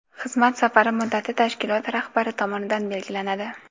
xizmat safari muddati tashkilot rahbari tomonidan belgilanadi.